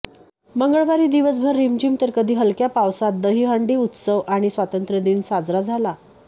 मंगळवारी दिवसभर रिमझिम तर कधी हलक्या पावसात दहीहंडी उत्सव आणि स्वातंत्र्यदिन साजरा झाला